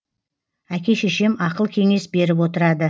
әке шешем ақыл кеңес беріп отырады